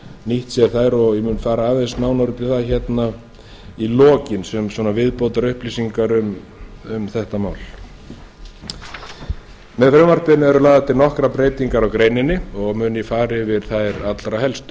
nýtt sér þær og ég mun fara aðeins nánar út í það í lokin sem viðbótarupplýsingar um þetta að með frumvarpinu eru lagðar til nokkrar breytingar á greininni og mun ég fara yfir þær allra helstu